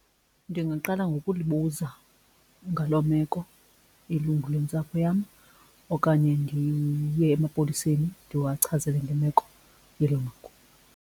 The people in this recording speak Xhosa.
Ndingaqala ngokulibuza ngaloo meko ilungu lwentsapho yam okanye ndiye emapoliseni ndiwachazele ngemeko yelo lungu.